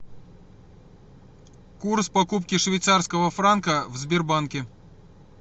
курс покупки швейцарского франка в сбербанке